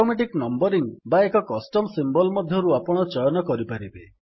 automatic numbering ସ୍ୱତଃ କ୍ରମାଙ୍କନ ବା ଏକ କଷ୍ଟମ୍ ସିମ୍ୱଲ୍ ମଧ୍ୟରୁ ଆପଣ ଚୟନ କରିପାରିବେ